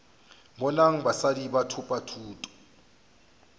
bonang basadi ba thopa thuto